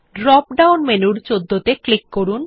drop down মেনুর ১৪ ত়ে click করুন